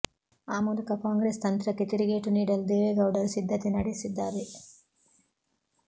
ಆ ಮೂಲಕ ಕಾಂಗ್ರೆಸ್ ತಂತ್ರಕ್ಕೆ ತಿರುಗೇಟು ನೀಡಲು ದೇವೇಗೌಡರು ಸಿದ್ಧತೆ ನಡೆಸಿದ್ದಾರೆ